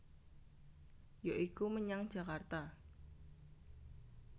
Ya iku menyang Jakarta